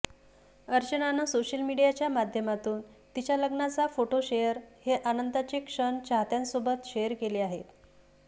अर्चनानं social मीडियाच्या माध्यमातून तिच्या लग्नाचा फोटो शेअर हे आनंदाचे क्षण चाहत्यांसोबत शेअर केले आहेत